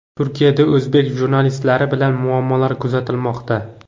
Turkiyada o‘zbek jurnalistlari bilan muammolar kuzatilmoqda.